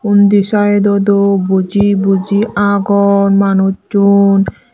undi side ot u buji buji agon manuchun.